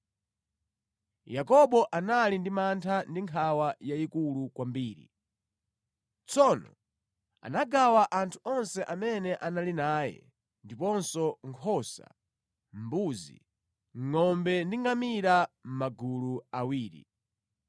Yakobo anali ndi mantha ndi nkhawa yayikulu kwambiri. Tsono anagawa anthu onse amene anali naye, ndiponso nkhosa, mbuzi, ngʼombe ndi ngamira mʼmagulu awiri.